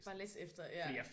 Bare læs efter ja